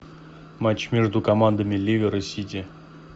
матч между командами ливер и сити